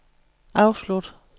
afslut